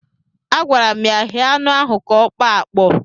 Agwara m ya, ghee anụ ahụ ka ọ kpọọ akpọọ!